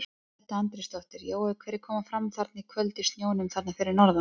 Edda Andrésdóttir: Jói hverjir koma fram þarna í kvöld í snjónum þarna fyrir norðan?